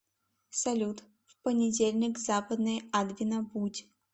салют в понедельник в западной адвина будь